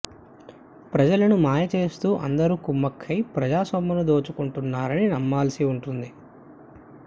ప్రజలను మాయ చేస్తూ అందరూ కుమ్మక్కయి ప్రజాసొమ్మును దోచుకుంటున్నారని నమ్మాల్సి ఉంటుంది